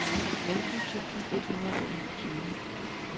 femten tusind et hundrede og enogtyve